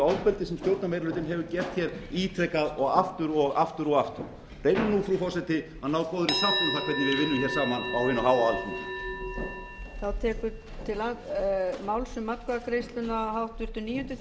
ofbeldi sem stjórnarmeirihlutinn hefur gert ítrekað og aftur og aftur og aftur reyndu nú frú forseti að ná góðri sátt um það hvernig við vinnum saman á hinu háa alþingi